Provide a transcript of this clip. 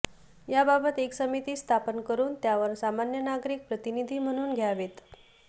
याबाबत एक समिती स्थापन करून त्यावर सामान्य नागरिक प्रतिनिधी म्हणून घ्यावेत